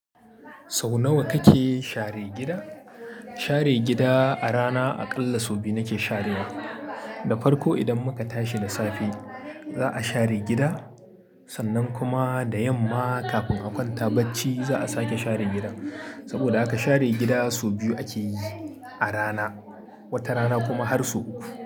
Sau nawa kake share gida? Share gida a rana aƙalla sau biyu nake sharewa. Da farko idan muka tashi da safe za'a share gida, sannan kuma da yamma kafin a kwanta bacci za'a sake share gida. Saboda haka share gida sau biyu akeyi a rana, wata rana kuma har sau uku.